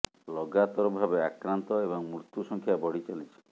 ଲଗାତର ଭାବେ ଆକ୍ରାନ୍ତ ଏବଂ ମୃତ୍ୟୁ ସଂଖ୍ୟା ବଢି ଚାଲିଛି